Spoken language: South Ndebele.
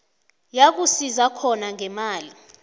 yakusiza khona ngemali